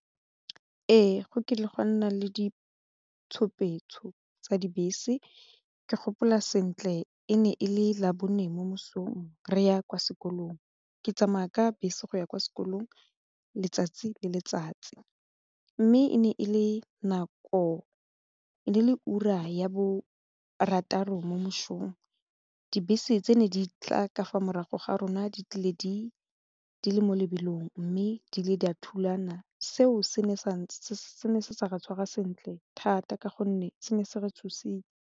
Ee, go kile gwa nna le ditshupetso tsa dibese ke gopola sentle e ne e le labone mo mosong re ya kwa sekolong ke tsamaya ka bese go ya kwa sekolong letsatsi le letsatsi mme e ne le ura ya borataro mo mosong dibese tse ne di tla ka fa morago ga rona di tlile di le mo lebelong mme di ne di a thulana seo se ne se sa re tshwarwa sentle thata ka gonne se ne se re tshositse.